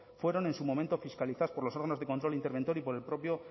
fueron en su momento fiscalizadas por los órganos de control interventor y por el propio